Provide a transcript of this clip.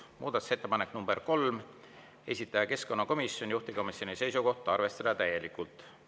Muudatusettepanek nr 3, esitaja keskkonnakomisjon, juhtivkomisjoni seisukoht: arvestada täielikult.